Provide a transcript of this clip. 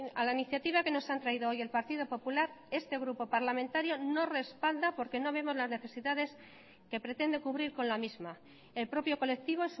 a la iniciativa que nos han traído hoy el partido popular este grupo parlamentario no respalda porque no vemos las necesidades que pretende cubrir con la misma el propio colectivo